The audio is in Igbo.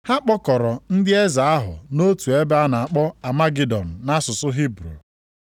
Ha kpọkọrọ ndị eze ahụ nʼotu ebe a na-akpọ Amagidọn nʼasụsụ Hibru.